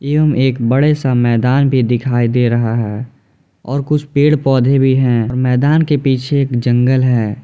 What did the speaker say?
एवं एक बड़े सा मैदान भी दिखाई दे रहा है और कुछ पेड़-पौधे भी हैं मैदान के पीछे एक जंगल है।